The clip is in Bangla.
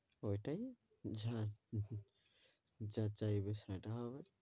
ওইটাই যা~ যা চাইবে সেটা হবে,